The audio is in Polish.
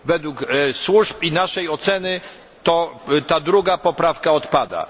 Według służb i naszej oceny, ta druga poprawka odpada.